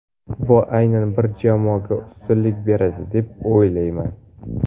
Bu aynan bir jamoaga ustunlik beradi deb o‘ylamayman.